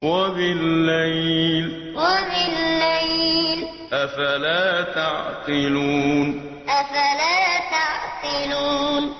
وَبِاللَّيْلِ ۗ أَفَلَا تَعْقِلُونَ وَبِاللَّيْلِ ۗ أَفَلَا تَعْقِلُونَ